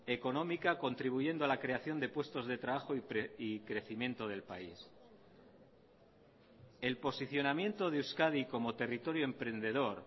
económica contribuyendo a la creación de puestos de trabajo y crecimiento del país el posicionamiento de euskadi como territorio emprendedor